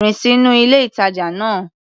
Rìn sínú ilé-ìtàjà náà.